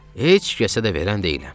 Heç kəsə də verən deyiləm."